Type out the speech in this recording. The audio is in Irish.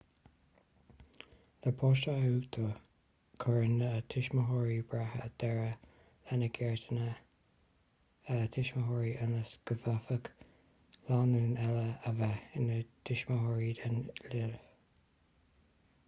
le páiste a uchtú cuireann na tuismitheoirí breithe deireadh lena gcearta tuismitheoirí ionas go bhféadfaidh lánúin eile a bheith ina dtuismitheoirí den linbh